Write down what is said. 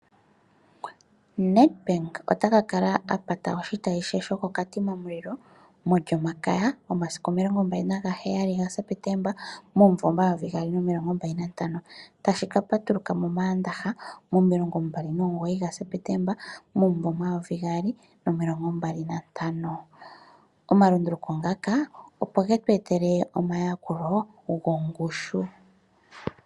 Nedbank ota ka kala a pata oshitayi she shokoKatima Mulilo mOlyomakaya yomasiku omilongombali nagaheyali gaSeptemba momayovi gaali nomilongombali nantano, tashi ka patuluka mOmaandaha momilongombali nomugoyi gaSeptemba momumvo omayovi gaali nomilongombali nantano. Omalunduluko otaga ningwa opo tu etelwe omayakulo gongushu.